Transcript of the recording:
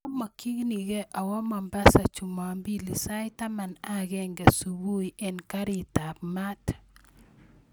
Amokyinige awoo mombasa chumombili sait taman ak agenge subui en garitab maat